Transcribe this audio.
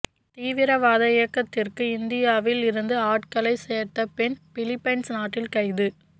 தீவிரவாத இயக்கத்திற்கு இந்தியாவில் இருந்து ஆட்களைச் சேர்த்த பெண் பிலிப்பைன்ஸ் நாட்டில் கைது